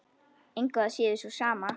Engu að síður sú sama.